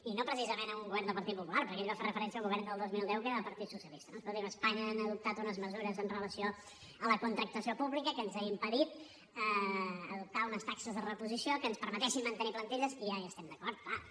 i no precisament el govern del partit popular perquè ell va fer referència al govern del dos mil deu que era del partit socialista no escolti’m a espanya han adoptat unes mesures amb relació a la contractació pública que ens ha impedit adoptar unes taxes de reposició que ens permetessin mantenir plantilles i ja hi estem d’acord clar